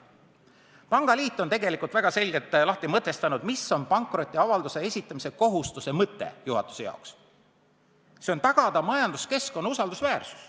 Pangaliit on väga selgelt lahti mõtestanud, mis on pankrotiavalduse esitamise kohustuse mõte juhatuse jaoks – tagada majanduskeskkonna usaldusväärsus.